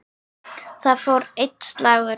Þar fór einn slagur.